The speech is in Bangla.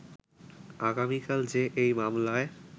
আগামিকাল যে এই মামলায়